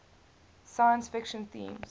science fiction themes